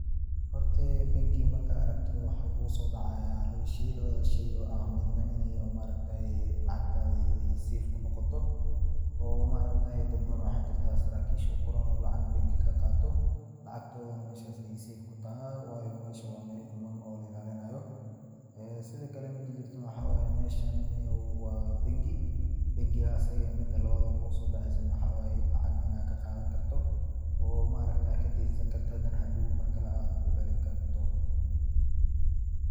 Horta banki markaad aragto waxaa kugu soo dacaaya laba sheey, labadaas sheey oo ah, midna inaay lacagtaadi safe kunoqoto, oo dad badan oo waxaa jirtaa saraakiisha uqoran oo lacag banki kaqaato, lacagtoodana meeshaas ayeey safe kutahay, waayo meesha waa meel quman oo la ilaalinaayo, sido kale mida jirto niyow meeshan waa banki, bankiga asaga mida labaad oo kugu soo daceeyso waxaa waye, lacag inaad ka qaadan karto, oo maaragtaa aad kadeensan karto hadana hadoow mar kale aad ucelin karto.